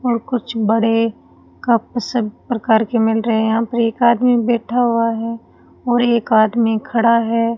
और कुछ बड़े कप सभी प्रकार के मिल रहे हैं यहां पर एक आदमी बैठा हुआ है और एक आदमी खड़ा है।